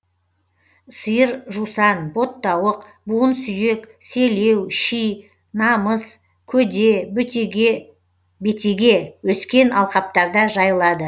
сиыр жусан боттауық буын сүйек селеу ши намыс көде бетеге өскен алқаптарда жайылады